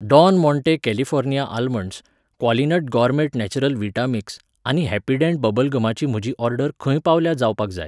don Monte California almonds, Qualinut gourmet natural vita mix आनी Happydent bubble गमाची म्हजी order खंय पावल्या जावपाक जाय